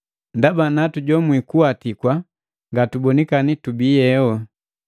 Ndaba natujomwi kuwatikwa ngatibonikani tubi nganukuwata ingobu.